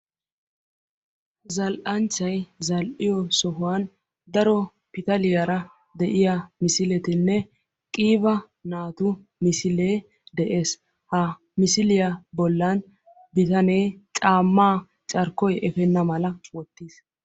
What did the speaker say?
zalanchchay zal"iyoo sohuwaan daro pitaaliyaara de'iyaa misileettinee qiiba naatu misilee de'ees. ha misiliyaa boollan bitanee caammaa carkkoy eppeena mala wottiis.